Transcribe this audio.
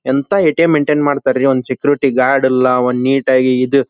ಎಂತಾ ATM. Maintain ಮಾಡತರಿ ಒಂದ ಸೆಕ್ಯೂರಿಟಿ ಗಾರ್ಡ್ ಇಲ್ಲಾ ಒಂದ್ ನೀಟ್ ಆಗಿ ಇದ್--